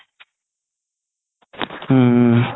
হুম